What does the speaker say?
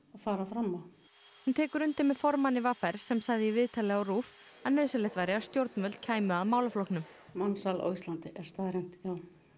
fara fram á hún tekur undir með formanni v r sem sagði í viðtali á RÚV að nauðsynlegt væri að stjórnvöld kæmu að málaflokknum mansal á Íslandi er staðreynd já